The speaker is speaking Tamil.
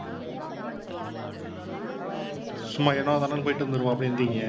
சும்மா ஏனோ தானோன்னு போயிட்டு வந்திடுவோம் அப்படிங்கிறீங்க.